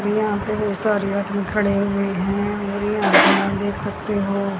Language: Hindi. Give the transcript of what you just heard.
यहां पे सारे आदमी खड़े हुए हैं देख सकते हो।